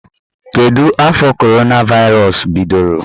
Kedụ afọ coronavirus bidoro?